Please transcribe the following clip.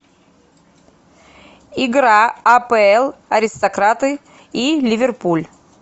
игра апл аристократы и ливерпуль